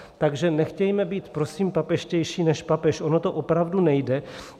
Takže nechtějme být prosím papežštější než papež, ono to opravdu nejde.